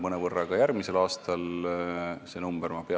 Ka järgmisel aastal suureneb see number mõnevõrra.